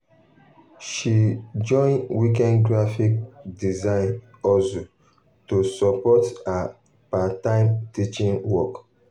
um she um join weekend graphic um design hustle to support to support her part-time teaching work.